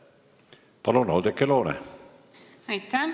Palun, Oudekki Loone!